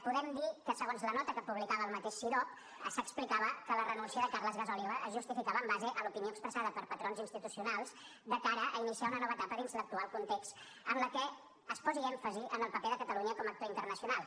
podem dir que segons la nota que publicava el mateix cidob s’explicava que la renúncia de carles gasòliba es justificava en base a l’opinió expressada per patrons institucionals de cara a iniciar una nova etapa dins l’actual context en la qual es posés èmfasi en el paper de catalunya com a actor internacional